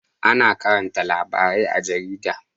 Ana karanta labarai a jarida